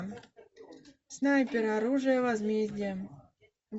снайпер оружие возмездия